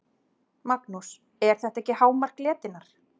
Magnús: Er þetta ekki hámark letinnar?